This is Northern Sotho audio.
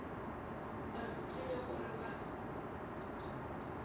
ba se tsebe gore ba